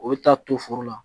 O bɛ taa to foro la